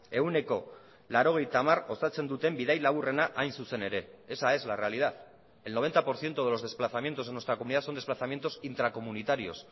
ehuneko laurogeita hamar osatzen duten bidai laburrena hain zuzen ere esa es la realidad el noventa por ciento de los desplazamientos en nuestra comunidad son desplazamientos intracomunitarios